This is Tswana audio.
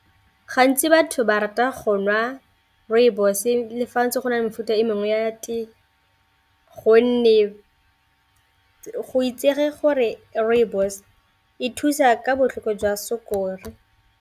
Gantsi batho ba rata go nwa rooibos-e le fa go ntse go na le mefuta e mengwe ya tee, gonne go itsege gore rooibos e thusa ka botlhoko jwa sukiri.